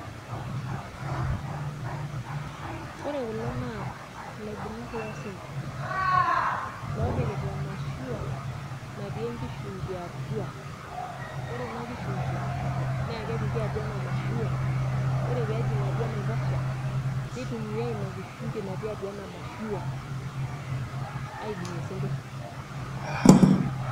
Ore kulo naa ilaibung'ak losinkir. Lopikita emashua natii enkishungi atua. Ore ina kishungi, na kepiki atua ena mashua, ore pejing atua enaiposha, nitumiai ina kishungi natii atua enamashua, aibung'ie sinkirr.